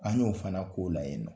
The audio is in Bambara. An y'o fana k'o la yen nɔ